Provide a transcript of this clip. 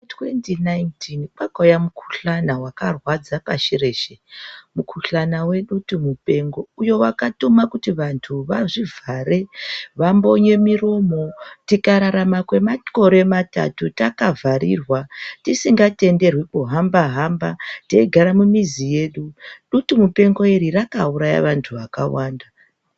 2019 kwakauya Mukhuhlane wakarwadza pasi reshe. Mukhuhlana wedutu mupengo .Uyo wakatuma kutu vanhu vambonye muromo , tikararama kwemakore matatu takazviririra mumambatso mwedu .Dutu mupengo iri rakauraya vanhu vakawanda